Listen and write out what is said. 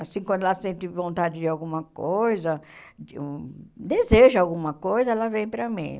Assim, quando ela sente vontade de alguma coisa de um, deseja alguma coisa, ela vem para mim.